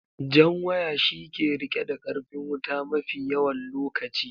Jan waya shi ke rike da karfin wuta mafi yawan lokaci